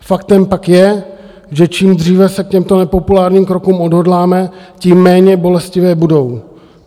Faktem pak je, že čím dříve se k těmto nepopulárním krokům odhodláme, tím méně bolestivé budou.